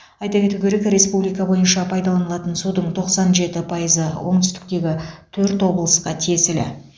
айта кету керек республика бойынша пайдаланылатын судың тоқсан жеті пайызы оңтүстіктегі төрт облысқа тиесілі